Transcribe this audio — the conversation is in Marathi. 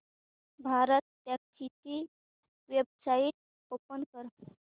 भारतटॅक्सी ची वेबसाइट ओपन कर